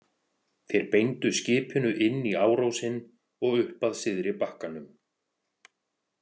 Þeir beindu skipinu inn í árósinn og upp að syðri bakkanum.